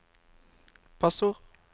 passord